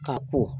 Ka ko